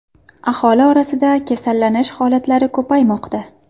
Aholi orasida kasallanish holatlari ko‘paymoqda.